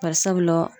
Bari sabula